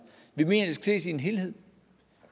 vi mener at det skal ses i en helhed